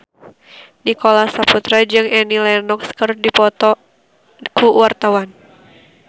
Nicholas Saputra jeung Annie Lenox keur dipoto ku wartawan